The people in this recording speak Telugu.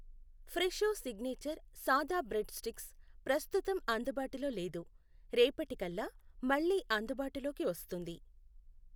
ఫ్రెషో సిగ్నేచర్ సాదా బ్రెడ్ స్టిక్స్ ప్రస్తుతం అందుబాటులో లేదు, రేపటి కల్లా మళ్ళీ అందుబాటులోకి వస్తుంది.